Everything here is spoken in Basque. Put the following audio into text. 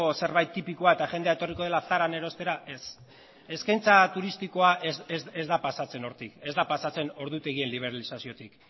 zerbait tipikoa eta jendea etorriko dela zaran erostera ez eskaintza turistikoa ez da pasatzen hortik ez da pasatzen ordutegien liberalizaziotik